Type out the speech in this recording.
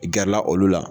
Gɛrɛla olu la